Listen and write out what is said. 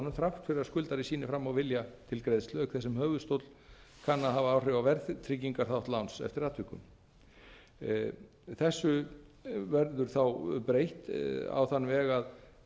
fyrir að skuldari sýni færa á vilja til greiðslu auk þess sem höfuðstóll kann að hafa áhrif á verðtryggingarþátt láns eftir atvikum þessu verður þá breytt á þann veg að